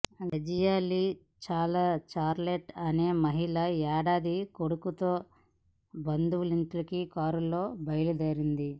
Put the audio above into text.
Dazia Lee Charlotte అనే మహిళ ఏడాది కొడుకుతో బంధువులింటికి కారులో బయల్దేరింది